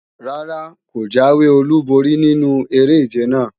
Rárá, kò jáwé olúborí nínu eré-ìje náà